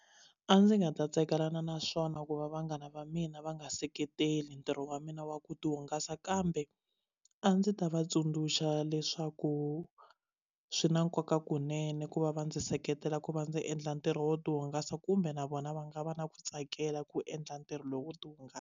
A ndzi nga ta tsakelana naswona ku va vanghana va mina va nga seketeli ntirho wa mina wa ku ti hungasa kambe a ndzi ta va tsundzuxa leswaku swi na nkoka kunene ku va va ndzi seketela ku va ndzi endla ntirho wo tihungasa kumbe na vona va nga va na ku tsakela ku endla ntirho lowu wo ti hungasa.